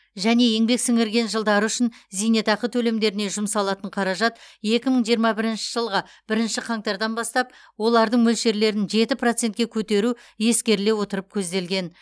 және еңбек сіңірген жылдары үшін зейнетақы төлемдеріне жұмсалатын қаражат екі мың жиырма бірінші жылғы бірінші қаңтардан бастап олардың мөлшерлерін жеті процентке көтеру ескеріле отырып көзделген